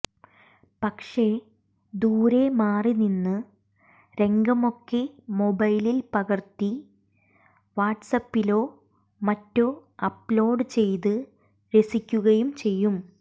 പക്ഷെ ദൂരെ മാറിനിന്ന് രംഗമൊക്കെ മൊബൈലിൽ പകർത്തി വാട്സ്ആപ്പിലോ മറ്റോ അപ്്ലോഡ് ചെയ്ത് രസിക്കുകയും ചെയ്യും